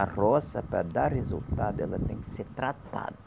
A roça, para dar resultado, ela tem que ser tratada.